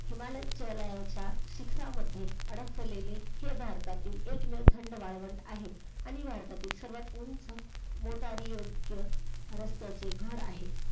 हिमालयाच्या शिखरामध्ये बसलेले हे भारतातील एक थंड वाळवंट आहे. आणि भारतातील सर्वात उंच मोटारी योग्य रस्त्याची घर आहे.